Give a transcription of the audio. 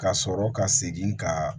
Ka sɔrɔ ka segin ka